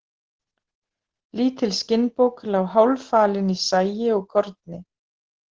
Lítil skinnbók lá hálffalin í sagi og korni.